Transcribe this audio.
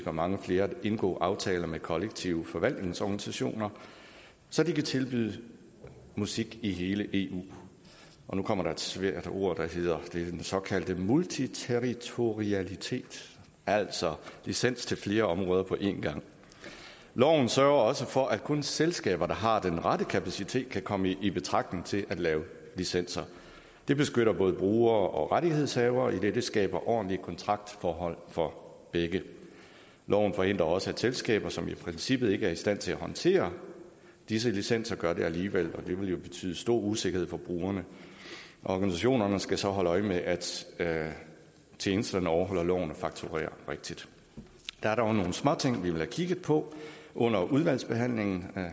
og mange flere at indgå aftaler med kollektiv forvaltnings organisationer så de kan tilbyde musik i hele eu nu kommer der et svært ord og det er den såkaldte multiterritorialitet altså licens til flere områder på en gang loven sørger også for at kun selskaber der har den rette kapacitet kan komme i betragtning til at lave licenser det beskytter både brugere og rettighedshavere idet det skaber ordentlige kontraktforhold for begge loven forhindrer også at selskaber som i princippet ikke er i stand til at håndtere disse licenser gør det alligevel og det vil jo betyde stor usikkerhed for brugerne organisationerne skal så holde øje med at at tjenesterne overholder loven og fakturerer rigtigt der er dog nogle småting vi vil have kigget på under udvalgsbehandlingen